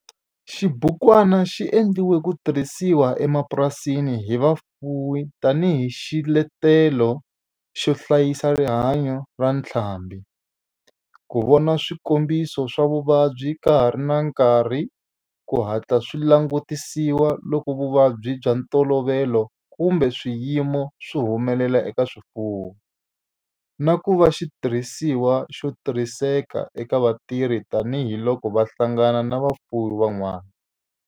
Xibukwana xi endliwe ku tirhisiwa emapurasini hi vafuwi tani hi xiletelo xo hlayisa rihanyo ra ntlhambhi, ku vona swikombiso swa vuvabyi ka ha ri na nkarhi ku hatla swi langutisiwa loko vuvabyi bya ntolovelo kumbe swiyimo swi humelela eka swifuwo, na ku va xitirhisiwa xo tirhiseka eka vatirhi tani hi loko va hlangana na vafuwi van'wana.